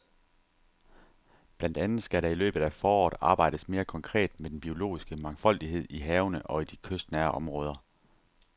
Blandt andet skal der i løbet af foråret arbejdes mere konkret med den biologiske mangfoldighed i havene og i de kystnære områder.